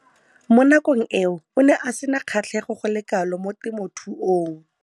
Mo nakong eo o ne a sena kgatlhego go le kalo mo temothuong.